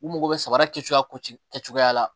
U mago bɛ samara kɛcogoya ko ci kɛ cogoya la